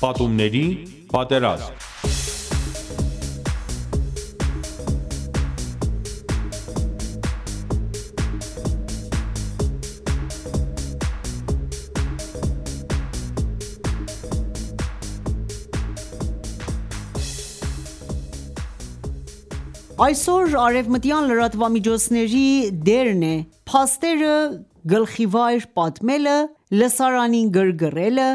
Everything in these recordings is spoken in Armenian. Պատումների պատերազմ (1) Այսօր արևմտյան լրատվամիջոցների դերն է՝ փաստերը գլխիվայր պատմելը, լսարանին գրգռելը,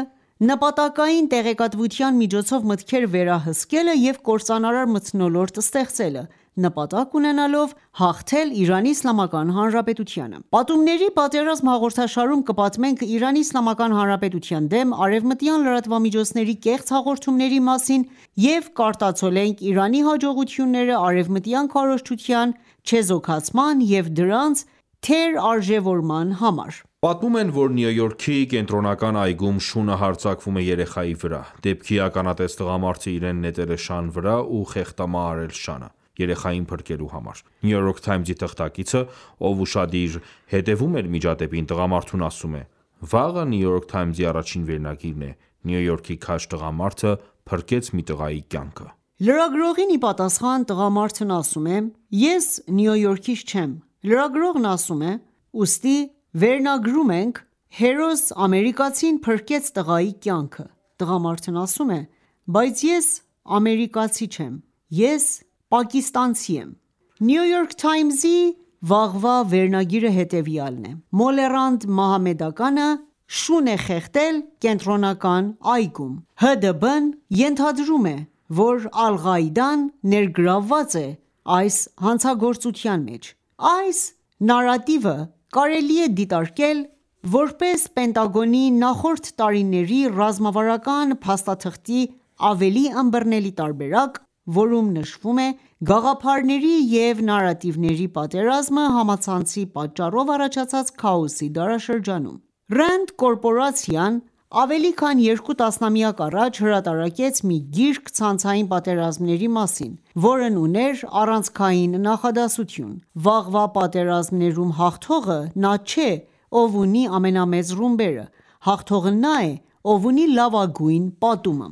նպատակային տեղեկատվության միջոցով մտքերը վերահսկելը, և կործանարար մթնոլորտ ստեղծելը, նպատակ ունենալով հաղթել Իրանի Իսլամական Հանրապետությանը։ «Պատումների պատերազմ» հաղորդաշարում կպատմենք Իրանի Իսլամական Հանրապետության դեմ արևմտյան լրատվամիջոցների կեղծ հաղորդումների մասին և կարտացոլենք Իրանի հաջողությունները արևմտյան քարոզչության չեզոքացման և դրանց թերարժևորման համար: Պատմում են, որ Նյու Յորքի Կենտրոնական այգում շունը հարձակվում է երեխայի վրա, դեպքի ականատես տղամարդը իրեն նետել է շան վրա ու խեղդամահ արել շանը, երեխային փրկելու համար։ New York Times-ի թղթակիցը, ով ուշադիր հետևում էր միջադեպին, տղամարդուն ասում է. Վաղը «Նյու Յորք Թայմս»-ի առաջին վերնագիրն է. «Նյու Յորքի քաջ տղամարդը փրկեց մի տղայի կյանքը»: Լրագրողին ի պատասխան՝ տղամարդն ասում է. «Ես Նյու Յորքից չեմ»։ Լրագրողն ասում է, ուստի վերնագրում ենք՝ «Հերոս ամերիկացին փրկեց տղայի կյանքը»։ Տղամարդն ասում է՝ «Բայց ես ամերիկացի չեմ, ես պակիստանցի եմ»: «Նյու Յորք Թայմս»-ի վաղվա վերնագիրը հետևյալն է. «Մոլեռանդ մահմեդականը շուն է խեղդել Կենտրոնական այգում. ՀԴԲ-ն ենթադրում է, որ Ալ-Ղաիդան ներգրավված է այս հանցագործության մեջ»: Այս նարատիվը կարելի է դիտարկել որպես Պենտագոնի նախորդ տարիների ռազմավարական փաստաթղթի ավելի ըմբռնելի տարբերակ, որում նշվում է գաղափարների և նարատիվների պատերազմը համացանցի պատճառով առաջացած քաոսի դարաշրջանում։ RAND կորպորացիան ավելի քան երկու տասնամյակ առաջ հրատարակեց մի գիրք ցանցային պատերազմների մասին, որն ուներ առանցքային նախադասություն՝ «Վաղվա պատերազմներում հաղթողը նա չէ, ով ունի ամենամեծ ռումբերը, հաղթողը նա է, ով ունի լավագույն պատումը»: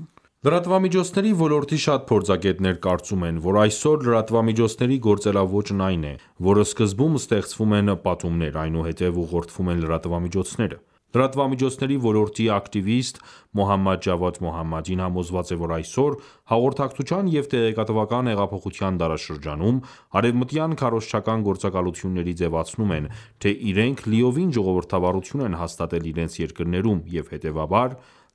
Լրատվամիջոցների ոլորտի շատ փորձագետներ կարծում են, որ այսօր լրատվամիջոցների գործելաոճն այն է, որ սկզբում ստեղծվում են պատումներ, այնուհետև ուղղորդվում են լրատվամիջոցները: Լրատվամիջոցների ոլորտի ակտիվիստ Մոհամմադ Ջավադ Մոհամմադին համոզված է, որ այսօր՝ հաղորդակցության և տեղեկատվական հեղափոխության դարաշրջանում, արևմտյան քարոզչական գործակալությունները ձևացնում են, թե իրենք լիովին ժողովրդավարություն են հաստատել իրենց երկրներում, և հետևաբար,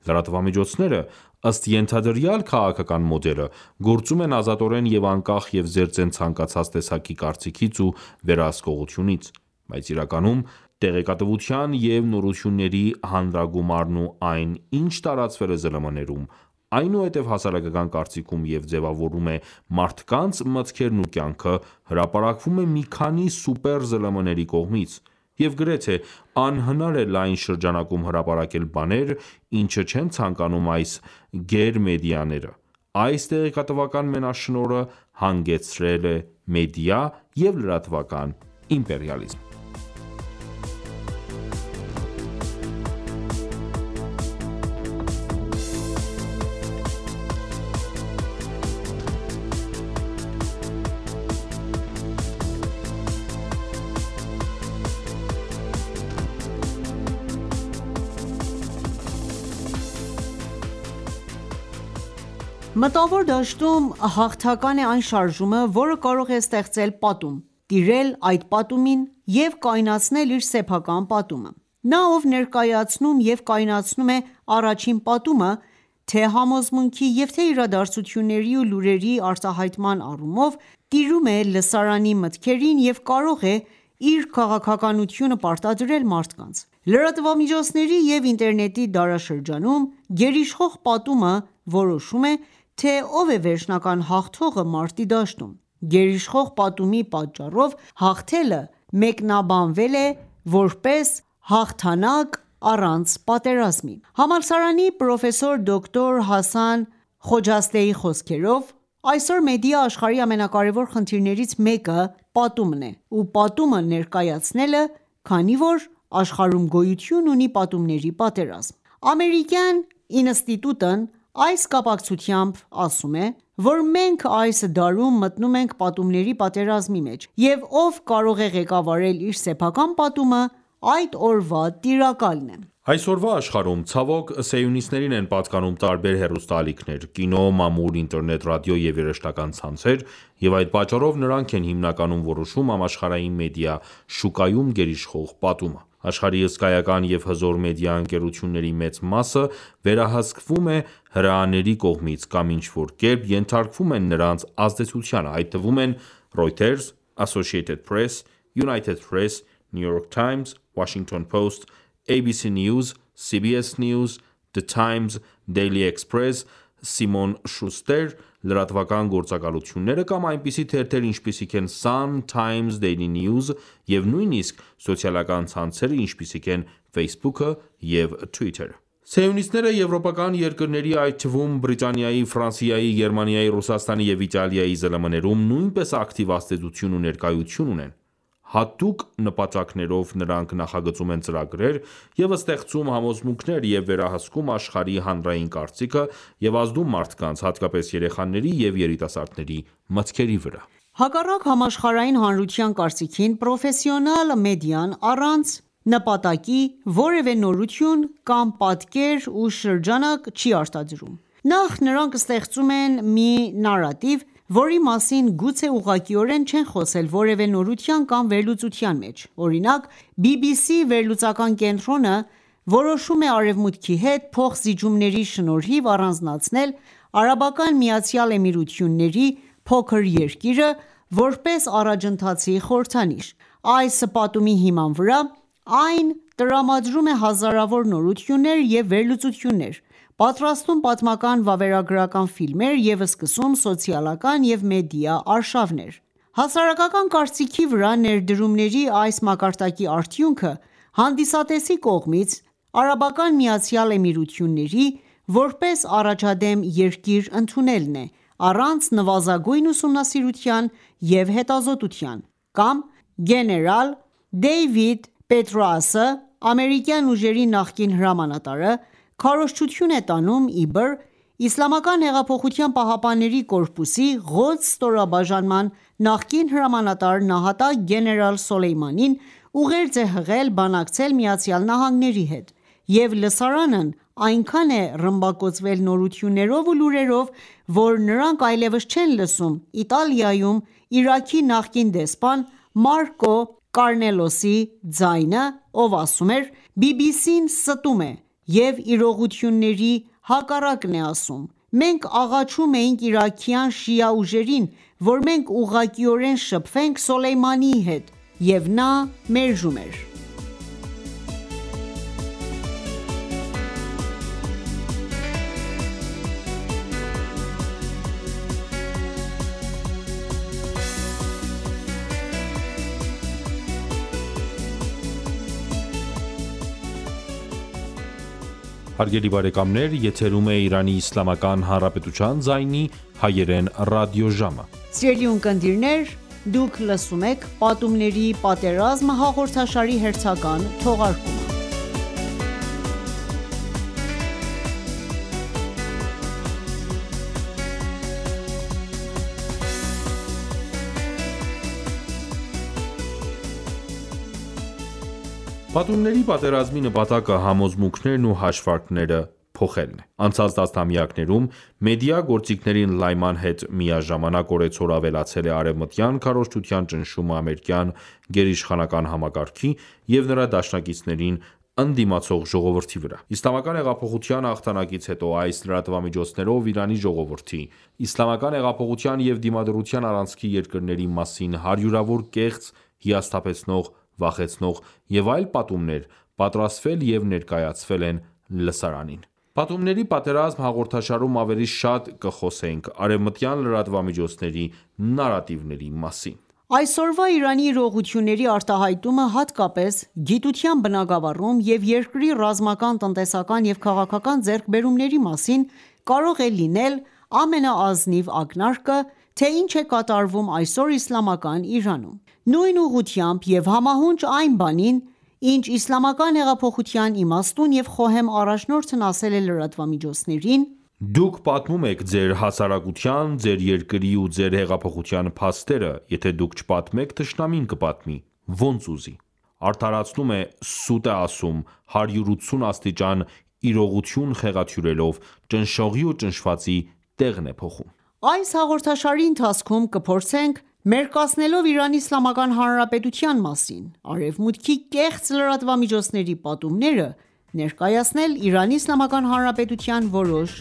լրատվամիջոցները, ըստ ենթադրյալ քաղաքական մոդելը, գործում են ազատորեն և անկախ և զերծ են ցանկացած տեսակի կարծիքից ու վերահսկողությունից, բայց իրականում տեղեկատվության և նորությունների հանրագումարն ու այն, ինչ տարածվել է ԶԼՄ-ներում, այնուհետև հասարակական կարծիքում և ձևավորում է մարդկանց մտքերն ու կյանքը, հրապարակվում է մի քանի սուպեր ԶԼՄ-ների կողմից, և գրեթե անհնար է լայն շրջանակում հրապարակել բաներ, ինչը չեն ցանկանում այս գերմեդիաները, այս տեղեկատվական մենաշնորհը հանգեցրել է մեդիա և լրատվական իմպերիալիզմին: Մտավոր դաշտում հաղթական է այն շարժումը, որը կարող է ստեղծել պատում, տիրել այդ պատումին և կայունացնել իր սեփական պատումը: Նա, ով ներկայացնում և կայունացնում է առաջին պատումը թե՛ համոզմունքի, և թե՛ իրադարձությունների ու լուրերի արտահայտման առումով, տիրում է լսարանի մտքերին և կարող է իր քաղաքականությունը պարտադրել մարդկանց։ Լրատվամիջոցների և ինտերնետի դարաշրջանում գերիշխող պատումը որոշում է, թե ով է վերջնական հաղթողը մարտի դաշտում: Գերիշխող պատումի պատճառով հաղթելը մեկնաբանվել է որպես հաղթանակ առանց պատերազմի: Համալսարանի պրոֆեսոր դոկտոր Հասան Խոջաստեի խոսքերով. «Այսօր մեդիա աշխարհի ամենակարևոր խնդիրներից մեկը պատումն է ,ու պատումը ներկայացնելը, քանի որ աշխարհում գոյություն ունի պատումների պատերազմ: Ամերիկյան ինստիտուտն այս կապակցությամբ ասում է, որ մենք այս դարում մտնում ենք պատումների պատերազմի մեջ, և ով կարող է ղեկավարել իր սեփական պատումը, այդ օրվա տիրակալն է»: Այսօրվա աշխարհում, ցավոք, սիոնիստներին են պատկանում տարբեր հեռուստաալիքներ, կինո, մամուլ, ինտերնետ, ռադիո և երաժշտական ցանցեր, և այդ պատճառով նրանք են հիմնականում որոշում համաշխարհային մեդիա շուկայում գերիշխող պատումը: Աշխարհի հսկայական և հզոր մեդիա ընկերությունների մեծ մասը վերահսկվում է հրեաների կողմից կամ ինչ-որ կերպ ենթարկվում է նրանց ազդեցությանը, այդ թվում են՝ «Reuters», «Associated Press», «United Press», «New York Times», «Washington Post», «ABC News», «CBS News», «The Times», «Daily Express», «Simon Schuster» լրատվական գործակալությունները կամ այնպիսի թերթեր, ինչպիսիք են՝ «Sun», «Times», «Daily News» և նույնիսկ սոցիալական ցանցերը, ինչպիսիք են Facebook-ը և Twitter-ը: Սիոնիստները եվրոպական երկրների, այդ թվում Բրիտանիայի, Ֆրանսիայի, Գերմանիայի, Ռուսաստանի և Իտալիայի ԶԼՄ-ներում, նույնպես ակտիվ ազդեցություն ու ներկայություն ունեն: Հատուկ նպատակներով նրանք նախագծում են ծրագրեր և ստեղծում համոզմունքներ և վերահսկում աշխարհի հանրային կարծիքը և ազդում մարդկանց, հատկապես երեխաների և երիտասարդների մտքերի վրա: Հակառակ համաշխարհային հանրության կարծիքին, պրոֆեսիոնալ մեդիան առանց նպատակի որևէ նորություն կամ պատկեր ու շրջանակ չի արտադրում։ Նախ, նրանք ստեղծում են մի նարատիվ, որի մասին գուցե ուղղակիորեն չեն խոսել որևէ նորության կամ վերլուծության մեջ: Օրինակ՝ BBC վերլուծական կենտրոնը որոշում է Արևմուտքի հետ փոխզիջումների շնորհիվ առանձնացնել ԱՄԷ փոքր երկիրը՝ որպես առաջընթացի խորհրդանիշ։ Այս պատումի հիման վրա այն տրամադրում է հազարավոր նորություններ և վերլուծություններ, պատրաստում պատմական վավերագրական ֆիլմեր և սկսում սոցիալական և մեդիա արշավներ: Հասարակական կարծիքի վրա ներդրումների այս մակարդակի արդյունքը հանդիսատեսի կողմից ԱՄԷ-ի` որպես առաջադեմ երկիր ընդունելն է` առանց նվազագույն ուսումնասիրության և հետազոտության, կամ գեներալ Դեյվիդ Պետրաուսը (ամերիկյան ուժերի նախկին հրամանատար) քարոզչություն է տանում, իբր Իսլամական հեղափոխության պահապանների կորպուսի «Ղոդս» ստորաբաժանման նախկին հրամանատար նահատակ գեներալ Սոլեյմանին, ուղերձ է հղել՝ բանակցել ԱՄՆ-ի հետ, և լսարանն այնքան է ռմբակոծվել նորություններով ու լուրերով, որ նրանք այլևս չեն լսում Իտալիայում Իրաքի նախկին դեսպան Մարկո Կարնելոսի ձայնը, ով ասում էր, BBC-ն ստում է և իրողությունների հակառակն է ասում, մենք աղաչում էինք իրաքյան շիա ուժերին, որ մենք ուղղակիորեն շփվենք Սոլեյմանիի հետ, և նա մերժում էր: Պատումների պատերազմի նպատակը համոզմունքներն ու հաշվարկները փոխելն է: Անցած տասնամյակներում մեդիա գործիքների ընդլայնման հետ միաժամանակ օրեցօր ավելացել է արևմտյան քարոզչության ճնշումը ամերիկյան գերիշխանական համակարգի և նրա դաշնակիցներին ընդդիմացող ժողովրդի վրա։ Իսլամական հեղափոխության հաղթանակից հետո այս լրատվամիջոցներով Իրանի ժողովրդի, Իսլամական հեղափոխության և դիմադրության առանցքի երկրների մասին հարյուրավոր կեղծ, հիասթափեցնող, վախեցնող և այլ պատումներ պատրաստվել և ներկայացվել են լսրանին: «Պատումների պատերազմ» հաղորդաշարում ավելի շատ կխոսենք արևմտյան լրատվամիջոցների նարատիվների մասին։ Այսօրվա Իրանի իրողությունների արտահայտումը հատկապես գիտության բնագավառում և երկրի ռազմական, տնտեսական և քաղաքական ձեռքբերումների մասին կարող է լինել ամենաազնիվ ակնարկը, թե ինչ է կատարվում այսօր Իսլամական Իրանում։ Նույն ուղղությամբ և համահունչ այն բանին, ինչ Իսլամական հեղափոխության իմաստուն և խոհեմ առաջնորդն ասել է լրատվամիջոցներին. «Դուք պատմում եք ձեր հասարակության, ձեր երկրի ու ձեր հեղափոխության փաստերը, եթե դուք չպատմեք, թշնամին կպատմի... ոնց ուզի։ Արդարացնում է, սուտ է ասում, 180 աստիճան իրողություն խեղաթյուրելով, ճնշողի ու ճնշվածի տեղն է փոխում», այս հաղորդաշարի ընթացքում կփորձենք մերկացնելով Իրանի Իսլամական Հանրապետության մասին Արևմուտքի կեղծ լրատվամիջոցների պատումները, ներկայացնել Իրանի Իսլամական Հանրապետության որոշ